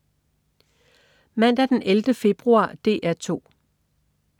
Mandag den 11. februar - DR 2: